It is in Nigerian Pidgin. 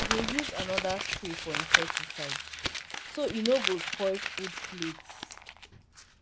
i dey use another spray for herbicide so e no go spoil food plats.